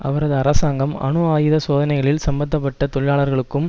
அவரது அரசாங்கம் அணு ஆயுத சோதனைகளில் சம்மந்த பட்ட தொழிலாளர்களுக்கும்